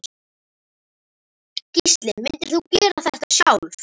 Gísli: Myndir þú gera þetta sjálf?